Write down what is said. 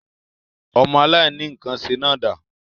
Ọmọ aláìníkànṣe náà dà?